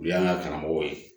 U y'an ka karamɔgɔ ye